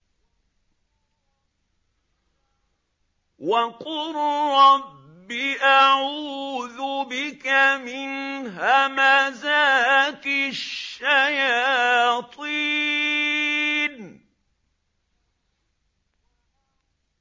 وَقُل رَّبِّ أَعُوذُ بِكَ مِنْ هَمَزَاتِ الشَّيَاطِينِ